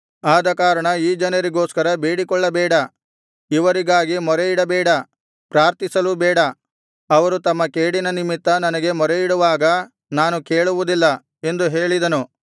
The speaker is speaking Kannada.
ಆದಕಾರಣ ಈ ಜನರಿಗೋಸ್ಕರ ಬೇಡಿಕೊಳ್ಳಬೇಡ ಇವರಿಗಾಗಿ ಮೊರೆಯಿಡಬೇಡ ಪ್ರಾರ್ಥಿಸಲೂ ಬೇಡ ಅವರು ತಮ್ಮ ಕೇಡಿನ ನಿಮಿತ್ತ ನನಗೆ ಮೊರೆಯಿಡುವಾಗ ನಾನು ಕೇಳುವುದಿಲ್ಲ ಎಂದು ಹೇಳಿದನು